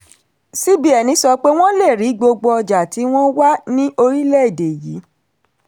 cbn sọ pé wọ́n lè rí gbogbo ọjà tí wọ́n wà ní orílẹ̀-èdè yìí.